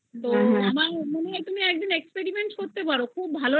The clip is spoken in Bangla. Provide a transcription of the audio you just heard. তো আমার তুমি একদিন experiment করতে পারো ভালো